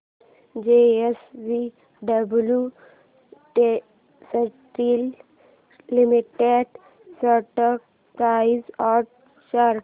JSW steel limited stock price and chart